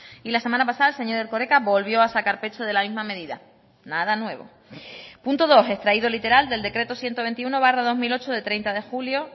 y la semana pasada señor erkoreka volvió a sacar pecho de la misma medida nada nuevo punto dos extraído literal del decreto ciento veintiuno barra dos mil ocho de treinta de julio